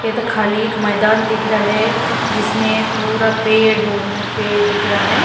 ये तो खाली एक मैदान दिख रहा है जिसमें पूरा पेड़ हो-- पेड़ दिख रहा है।